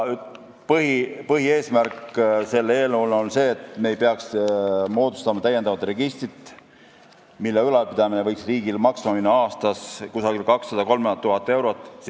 Eelnõu põhieesmärk on see, et me ei peaks moodustama täiendavat registrit, mille ülalpidamine võiks riigile aastas maksma minna 200 000 – 300 000 eurot.